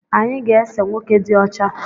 Anyị ga ese nwoke dị ọcha